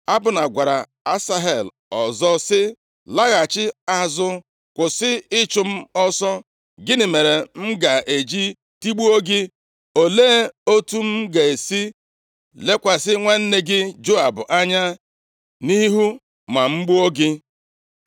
Abna gwara Asahel ọzọ sị, “Laghachi azụ. Kwụsị ịchụ m ọsọ! Gịnị mere m ga-eji tigbuo gị? Olee otu m ga-esi lekwasị nwanne gị Joab anya nʼihu ma m gbuo gị?”